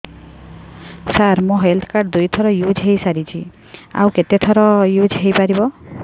ସାର ମୋ health card ଦୁଇ ଥର ୟୁଜ଼ ହୈ ସାରିଛି ଆଉ କେତେ ଥର ୟୁଜ଼ ହୈ ପାରିବ